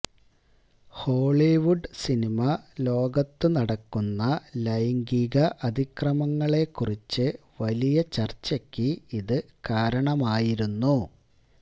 Hollywood cinema ലോകത്തുനടക്കുന്ന ലൈംഗിക അതിക്രമങ്ങളെക്കുറിച്ച് വലിയ ചര്ച്ചയ്ക്ക് ഇത് കാരണമായിരുന്നു